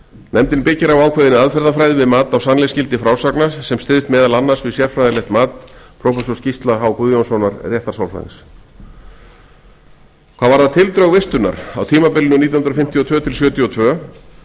nefndin byggir á ákveðinni aðferðafræði við mat á sannleiksgildi frásagna sem styðst meðal annars við sérfræðilegt mat prófessors gísla h guðjónssonar réttarsálfræðings hvað varðar tildrög vistunar á tímabilinu nítján hundruð fimmtíu og tvö til nítján hundruð sjötíu og tvö